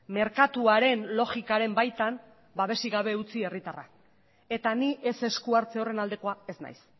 merkatuaren logikaren baitan babesik gabe utzi herritarrak eta ni ez esku hartze horren aldekoa ez naiz